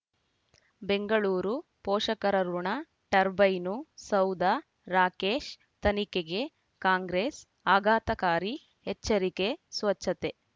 ಬೆಂಗಳೂರು ಪೋಷಕರಋಣ ಟರ್ಬೈನು ಸೌಧ ರಾಕೇಶ್ ತನಿಖೆಗೆ ಕಾಂಗ್ರೆಸ್ ಆಘಾತಕಾರಿ ಎಚ್ಚರಿಕೆ ಸ್ವಚ್ಛತೆ